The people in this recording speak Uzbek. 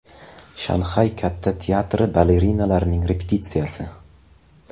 Shanxay katta teatri balerinalarining repetitsiyasi.